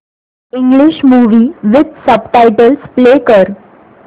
English movie with subtitles play कर